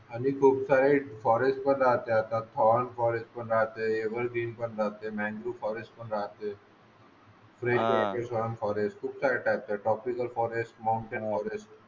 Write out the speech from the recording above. आणि कॉक साईट फॉरेस्ट पण राहते आता ऑल फॉरेस्ट पण राहते एवर ग्रीन पण राहतय मँगो फॉरेस्ट पण राहतय फॉरेस्ट खूप सारे टाईप्स आहेत ऑप्टिकल फॉरेस्ट माउंटेन फॉरेस्ट